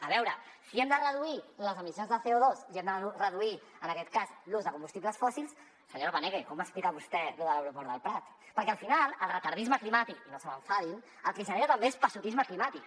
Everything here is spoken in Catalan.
a veure si hem de reduir les emissions de coen aquest cas l’ús de combustibles fòssils senyora paneque com explica vostè lo de l’aeroport del prat perquè al final el retardisme climàtic i no se m’enfadin el que genera també és passotisme climàtic